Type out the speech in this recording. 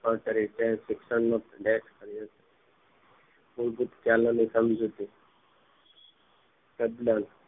જોવા મળી ત્યારે શિક્ષણ મૂળભૂત કર્યો ની સમજુતી યજમાન